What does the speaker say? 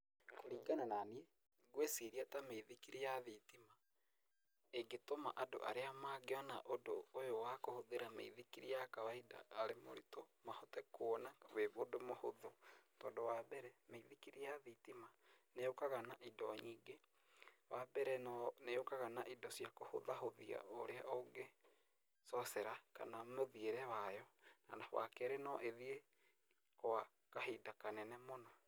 Kũringana na niĩ, ngwĩciria ta mĩithikiri ya thitima ĩngĩtũma andũ arĩa mangĩona ũndũ ũyũ wa kũhũthĩra mĩithikiri ya kawainda ta rĩ mũritũ mahote kuona wĩ ũndũ mũhũthũ, tondũ wa mbere mĩithikiri ya thitima nĩyũkaga na indo nyingĩ, wa mbere nĩyũkaga na indo cia kũhũthahũthia ũrĩa ũngĩcocera kana mũthĩare wayo, wa kerĩ no ĩthiĩ gwa kahinda kanene mũno.